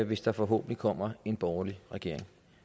hvis der forhåbentlig kommer en borgerlig regering